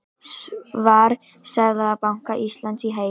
Svar Seðlabanka Íslands í heild